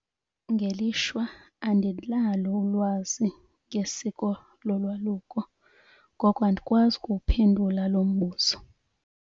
Ngelishwa andinalo ulwazi ngesiko lolwaluko. Ngoko andikwazi ukuwuphendula lo mbuzo.